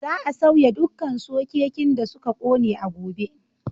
Za a sauya dukkan sokekin da suka ƙone a gobe.